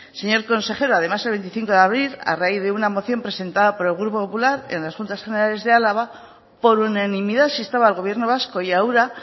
señor consejero además el veinticinco de abril a raíz de una moción presentada por el grupo popular en las juntas generales de álava por unanimidad se instaba al gobierno vasco y a ura